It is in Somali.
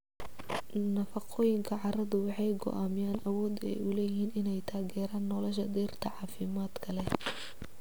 Nafaqooyinka carradu waxay go'aamiyaan awoodda ay u leeyihiin inay taageeraan nolosha dhirta caafimaadka leh.